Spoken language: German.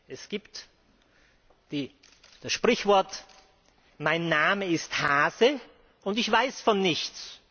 Es gibt das Sprichwort Mein Name ist Hase, ich weiß von nichts.